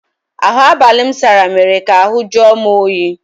Ahụ abalị m sara mere ka ahụ jụọ m oyi.